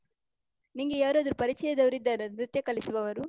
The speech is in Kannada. ನಿಂಗೆ ಯಾರ್ ಆದ್ರು ಪರಿಚಯದವ್ರು ಇದ್ದಾರಾ ನೃತ್ಯ ಕಲಿಸುವವರು?